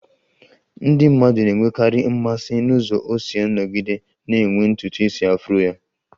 Ndị mmadụ na-enwekarị mmasị n'ụzọ o si nọgide na-enwe ntutu isi afro ya